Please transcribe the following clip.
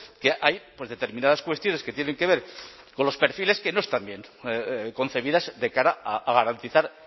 que hay determinadas cuestiones que tienen que ver con los perfiles que no están bien concebidas de cara a garantizar